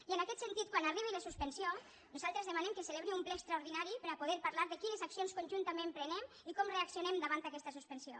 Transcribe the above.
i en aquest sentit quan arribi la suspensió nosaltres demanem que es celebri un ple extraordinari per a poder parlar de quines accions conjuntament prenem i com reaccionem davant aquesta suspensió